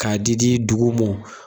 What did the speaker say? Ka di di dugu mɔn.